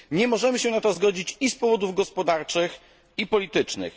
Nie możemy się na to zgodzić i z powodów gospodarczych, i politycznych.